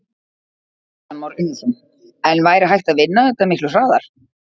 Kristján Már Unnarsson: En væri hægt að vinna þetta miklu hraðar?